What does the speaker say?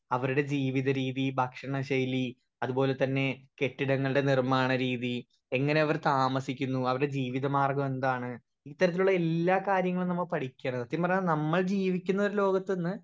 speaker 1 അവരുടെ ജീവിത രീതി ഭക്ഷണ ശൈലി അതുപോലതന്നെ കെട്ടിടങ്ങൾടെ നിർമാണ രീതി എങ്ങനെ അവർ താമസിക്കുന്നു അവര്ടെ ജീവിത മാർഗം എന്താണ് ഇത്തരത്തിലുള്ള എല്ലാ കാര്യങ്ങളും നമ്മ പഠിക്കരെ സത്യം പറഞ്ഞ നമ്മൾ ജീവിക്കുന്ന ഒരു ലോകത്തിന്ന്